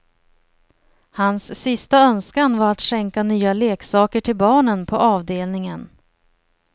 Hans sista önskan var att skänka nya leksaker till barnen på avdelningen.